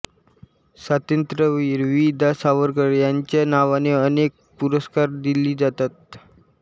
स्वातंत्र्यवीर वि दा सावरकर यांच्या नावाने अनेक पुरस्कार दिले जातात